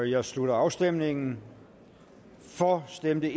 jeg slutter afstemningen for stemte